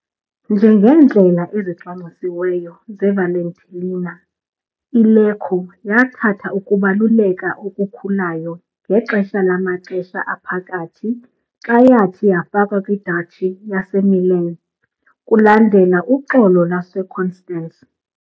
Njengeendlela ezicwangcisiweyo zeValtellina, iLecco yathatha ukubaluleka okukhulayo ngexesha lamaXesha Aphakathi xa yathi yafakwa kwiDuchy yaseMilan kulandela uXolo lwaseConstance.